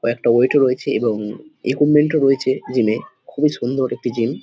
কয়েকটা ওয়েট ও রয়েছে এবং ইকুইপমেন্ট ও রয়েছে জিম -এ। খুবই সুন্দর একটি জিম ।